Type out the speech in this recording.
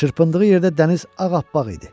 Çırpındığı yerdə dəniz ağappaq idi.